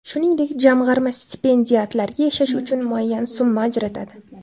Shuningdek, jamg‘arma stipendiatlarga yashash uchun muayyan summa ajratadi.